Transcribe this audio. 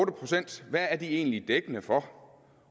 procent egentlig dækkende for